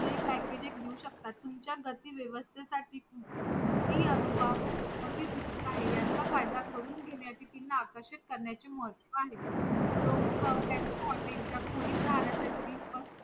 stay packaging देऊ शेकतात तुमच्या गतीव्यवस्ते साठी कोणतेही अनुभव अति तुच्छ आहेयाचा फायदा करून घेण्यासाठी किंवा आकर्षीत करण्याचे मुभा आहेलोक त्यांच्या हॉटेल च्या खोलीत राहण्यासाठी